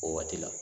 O waati la